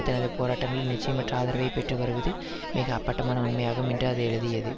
தனது போராட்டங்களில் நிச்சயமற்ற ஆதரவை பெற்று வருவது மிக அப்பட்டமான உண்மையாகும் என்று அது எழுதியது